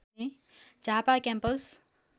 Jhapa campus